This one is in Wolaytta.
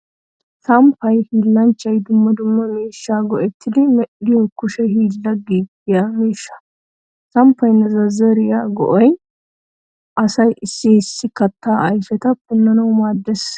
Samppay hiillanchchay dumma dumma miishshaa go'ettidi medhdhiyo kushe hiillan giigiyaa miishshay. Samppaanne zazzariyaa go'ay asay issi issi kattaa ayfeta punnanawu maaddees.